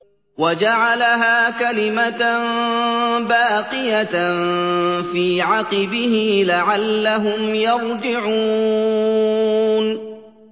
وَجَعَلَهَا كَلِمَةً بَاقِيَةً فِي عَقِبِهِ لَعَلَّهُمْ يَرْجِعُونَ